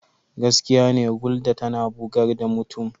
Gaskiya ne Gulder tana bugar da mutum.